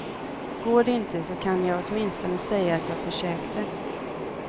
Går det inte så kan jag åtminstone säga att jag försökte.